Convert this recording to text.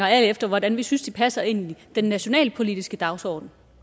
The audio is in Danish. alt efter hvordan vi synes de passer ind i den nationalpolitiske dagsorden